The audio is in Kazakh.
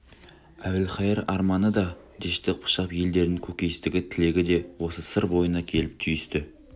әбілқайыр арманы да дәшті қыпшақ елдерінің көкейкесті тілегі де осы сыр бойына келіп түйісті